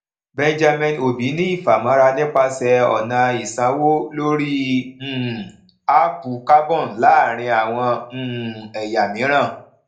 benjamin obi ní ìfàmọra nípasẹ ọnà ìsanwó lórí um áápù carbon láàárín àwọn um ẹyà mìíràn